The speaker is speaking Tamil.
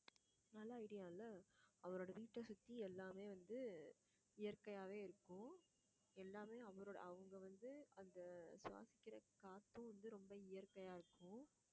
நல்ல idea இல்ல அவரோட வீட்டை சுத்தி எல்லாமே வந்து இயற்கையாவே இருக்கும் எல்லாமே அவரோட அவங்க வந்து அந்த சுவாசிக்கிற காத்தும் வந்து ரொம்ப இயற்கையா இருக்கும்